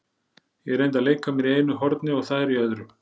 Ég reyndi að leika mér í einu horni og þær í öðru.